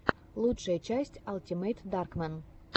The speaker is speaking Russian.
лучшая часть алтимэйтдаркмэн